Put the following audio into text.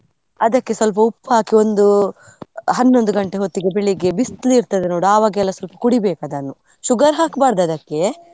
ಅದಕ್ಕೆ ಸ್ವಲ್ಪ ಉಪ್ಪು ಹಾಕಿ ಒಂದು, ಹನ್ನೊಂದು ಗಂಟೆ ಹೊತ್ತಿಗೆ ಬೆಳಿಗ್ಗೆ ಬಿಸ್ಲಿರ್ತದೆ ನೋಡು ಅವಾಗ ಸ್ವಲ್ಪ ಕುಡಿಬೇಕು ಅದನ್ನು sugar ಹಾಕ್ಬಾರ್ದು ಅದಕ್ಕೆ.